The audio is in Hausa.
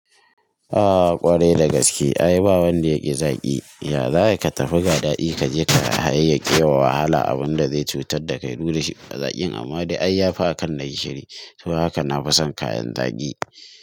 Ah ƙwarai da gaske ai ba wanda yaƙi zaƙi, ya za a yi ka tafi ga daɗi kaje ka hayayyaƙe wa wahala abunda zai cutar da kai, duk da shi ma zakin amma dai ai yafi akan na gishiri. To haka na fi son kayan zaƙi.